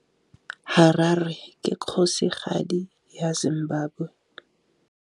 Harare ke kgosigadi ya Zimbabwe.